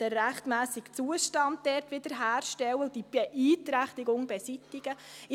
den rechtmässigen Zustand wiederherstellen und die Beeinträchtigung beseitigen muss.